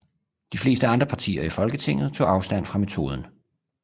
De fleste andre partier i Folketinget tog afstand fra metoden